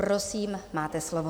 Prosím, máte slovo.